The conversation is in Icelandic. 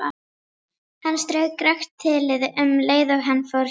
Hann strauk rakt þilið um leið og hann fór hjá.